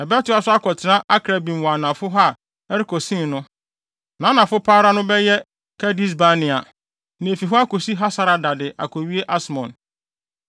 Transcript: Ɛbɛtoa so akɔtra Akrabbim wɔ anafo hɔ a ɛrekɔ Sin no. Nʼanafo pa ara no bɛyɛ Kades-Barnea, na efi hɔ akosi Hasarada de akowie Asmon.